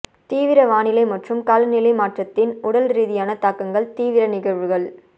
தீவிர வானிலை மற்றும் காலநிலை மாற்றத்தின் உடல்ரீதியான தாக்கங்கள் தீவிர நிகழ்வுகள்